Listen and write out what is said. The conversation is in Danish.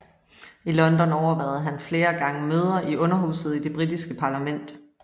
I London overværede han flere gange møder i Underhuset i Det britiske parlament